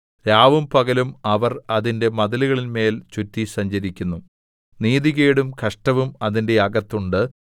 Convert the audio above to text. രാവും പകലും അവർ അതിന്റെ മതിലുകളിന്മേൽ ചുറ്റി സഞ്ചരിക്കുന്നു നീതികേടും കഷ്ടവും അതിന്റെ അകത്തുണ്ട്